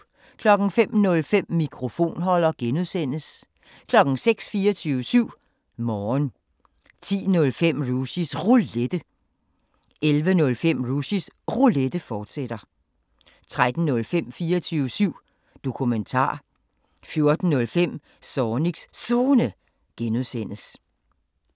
05:05: Mikrofonholder (G) 06:00: 24syv Morgen 10:05: Rushys Roulette 11:05: Rushys Roulette, fortsat 13:05: 24syv Dokumentar 14:05: Zornigs Zone (G)